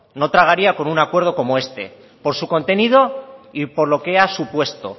no tragaría con un acuerdo como este por su contenido y por lo que ha supuesto